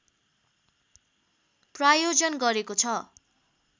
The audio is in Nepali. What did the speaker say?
प्रायोजन गरेको छ